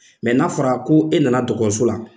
n'a fɔra ko e nana dɔgɔtɔrɔso la